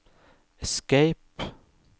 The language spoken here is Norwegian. escape